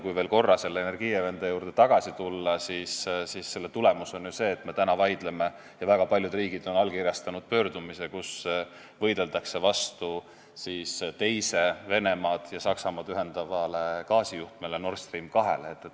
Kui veel korra selle Energiewende juurde tagasi tulla, siis selle tulemus on ju see, et me täna vaidleme sel teemal ja väga paljud riigid on allkirjastanud pöördumise, kus võideldakse teise Venemaad ja Saksamaad ühendava gaasijuhtme Nord Stream 2 vastu.